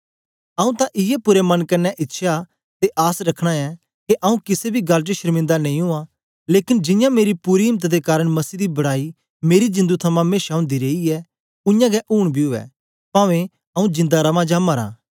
आऊँ तां इयै पूरे मन कन्ने इच्छया ते आस रखना ऐं के आऊँ किसे बी गल्ल च शर्मिंदा नेई उआं लेकन जियां मेरी पूरी इम्त दे कारन मसीह दी बड़ाई मेरी जिंदु थमां मेशा ओंदी रेई ऐ उयांगै ऊन बी उवै पवें आऊँ जिंदा रवां जां मरां